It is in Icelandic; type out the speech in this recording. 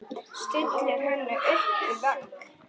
Stillir henni upp við vegg.